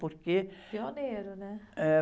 Porque...ioneiro, né?